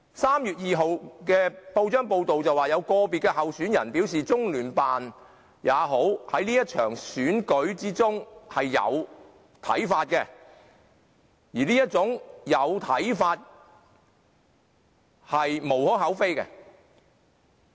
3月2日的報章報道，有個別候選人表示即使是中聯辦，在這場選舉中有看法亦無可厚非。